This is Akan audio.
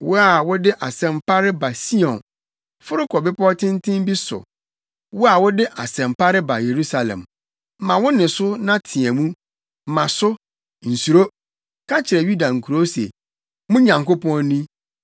Wo a wode asɛm pa reba Sion, foro kɔ bepɔw tenten bi so. Wo a wode asɛm pa reba Yerusalem, ma wo nne so na teɛ mu, ma so, nsuro; ka kyerɛ Yuda nkurow se, “Mo Nyankopɔn ni!”